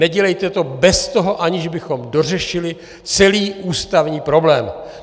Nedělejte to bez toho, aniž bychom dořešili celý ústavní problém.